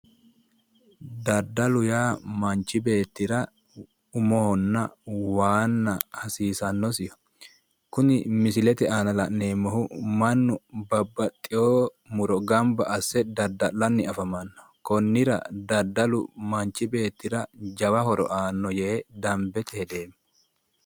Daddalu yaa manchu beettira umohonna waanna hasiisannosiho. Kuni misilete aana la'neemmohu mannu babbaxxewo muro gamba asse dadda'lanni afamanno. Konnira daddalu manchi beettira jawa horo aanno yee dambete hedeemmo.